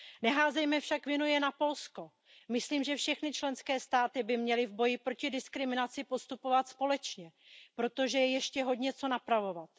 Neházejme však vinu jen na Polsko, myslím, že všechny členské státy by měly v boji proti diskriminaci postupovat společně, protože je ještě hodně co napravovat.